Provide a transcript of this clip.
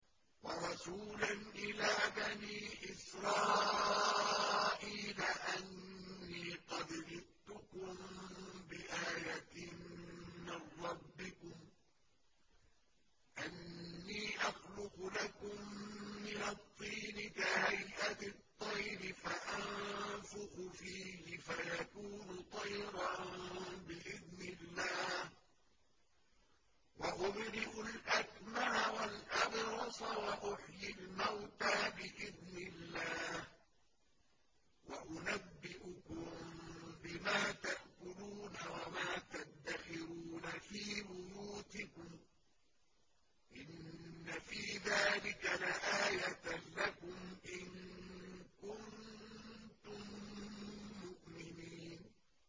وَرَسُولًا إِلَىٰ بَنِي إِسْرَائِيلَ أَنِّي قَدْ جِئْتُكُم بِآيَةٍ مِّن رَّبِّكُمْ ۖ أَنِّي أَخْلُقُ لَكُم مِّنَ الطِّينِ كَهَيْئَةِ الطَّيْرِ فَأَنفُخُ فِيهِ فَيَكُونُ طَيْرًا بِإِذْنِ اللَّهِ ۖ وَأُبْرِئُ الْأَكْمَهَ وَالْأَبْرَصَ وَأُحْيِي الْمَوْتَىٰ بِإِذْنِ اللَّهِ ۖ وَأُنَبِّئُكُم بِمَا تَأْكُلُونَ وَمَا تَدَّخِرُونَ فِي بُيُوتِكُمْ ۚ إِنَّ فِي ذَٰلِكَ لَآيَةً لَّكُمْ إِن كُنتُم مُّؤْمِنِينَ